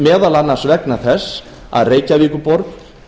meðal annars vegna þess að reykjavíkurborg